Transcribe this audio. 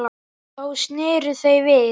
Þá sneru þau við.